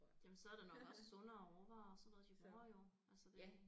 Jamen så er det nok også sundere råvarer og sådan noget de bruger jo altså det